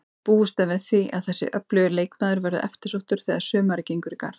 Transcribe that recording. Búist er við því að þessi öflugi leikmaður verði eftirsóttur þegar sumarið gengur í garð.